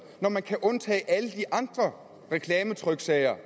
når man kan undtage alle de andre reklametryksager